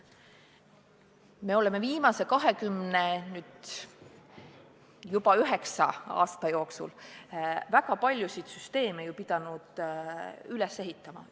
Me oleme viimase 29 aasta jooksul pidanud väga palju süsteeme üles ehitama.